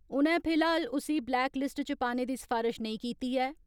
उनै फिलहाल उसी ब्लेक लिस्ट च पाने दी सफारश नेई कीती ऐ।